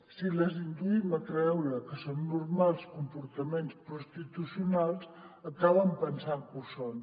si les induïm a creure que són normals comportaments prostitucionals acaben pensant que ho són